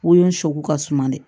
Wo in sogo ka suma dɛ